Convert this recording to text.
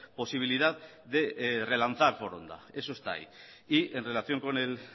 posibilidad de relanzar foronda eso está ahí y en relación con el